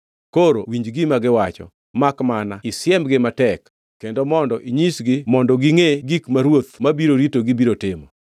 Koro winj gima giwacho; makmana isiemgi matek, kendo mondo inyisgi mondo gingʼe gik ma ruoth mabiro ritogi biro timo.”